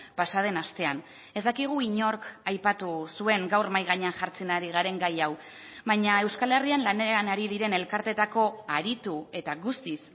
pasa den astean ez dakigu inork aipatu zuen gaur mahai gainean jartzen ari garen gai hau baina euskal herrian lanean ari diren elkarteetako aritu eta guztiz